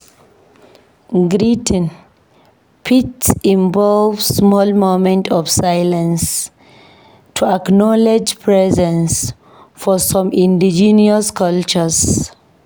Greeting fit involve small moment of silence to acknowledge presence for some Indigenous cultures.